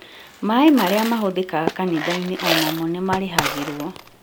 Maaĩ marĩa mahũthĩkaga kanitha-inĩ o namo nĩmarĩhagĩrwo